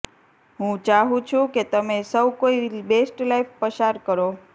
હું ચાહું છું કે તમે સૌ કોઈ બેસ્ટ લાઇફ પસાર કરો